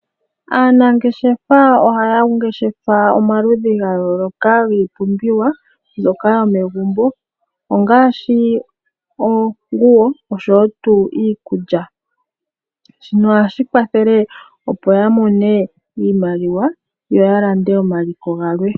Aanangeshefa ohaya ngeshefa omaludhi ga yooloka giipumbiwa mbyoka yo megumbo ongaashi oonguwo oshowo tuu iikulya, shino ohashi kwathele opo ya mone iimaliwa, yo ya lande onaliko galwe.